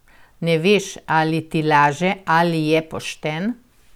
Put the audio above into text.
Ne veš, ali ti laže ali je pošten?